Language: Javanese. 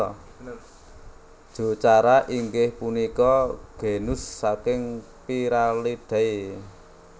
Jocara inggih punika genus saking Pyralidae